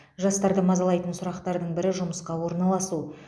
жастарды мазалайтын сұрақтардың бірі жұмысқа орналасу